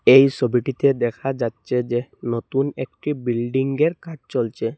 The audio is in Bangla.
এই সবিটিতে দেখা যাচ্ছে যে নতুন একটি বিল্ডিংয়ের কাজ চলছে।